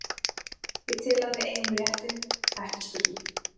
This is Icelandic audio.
Ég tel að við eigum réttinn, ekki spurning.